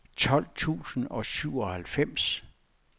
tolv tusind og syvoghalvfems